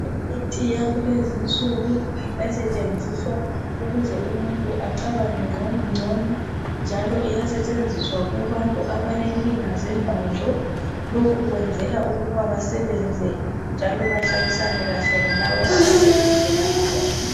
Imithi yakulezinsuku esetshenziswa ukuze umuntu acabange ngcono njalo iyasetehenziswa kubantu abalenkinga zengqondo lokhu kwenzela ukuthi basebenze njalo bahlalisane lalabo abase duze labo